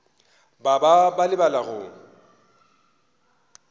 ba ba ba lebala go